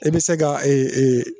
E bi se ka